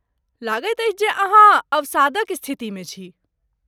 लगैत अछि जे अहाँ अवसादक स्थितिमे छी?